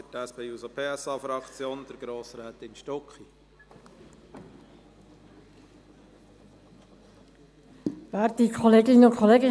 Zum zweiten Antrag hat Grossrätin Stucki für die SP-JUSO-PSA-Fraktion das Wort.